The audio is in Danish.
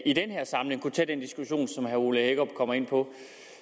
i den her samling kunne tage den diskussion som herre ole hækkerup kommer ind på